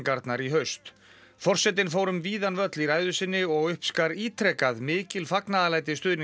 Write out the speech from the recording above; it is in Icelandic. forsetinn fór um víðan völl í ræðu sinni og uppskar ítrekað mikil fagnaðarlæti stuðningsmanna sinna